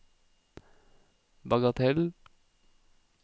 bagatell